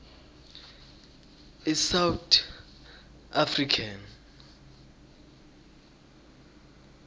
i south african